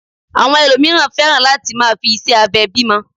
Àwọn ẹlòmíràn fẹ́ràn lati máa fi ìṣe abẹ bímọ